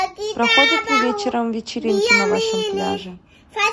проходят ли вечером вечеринки на вашем пляже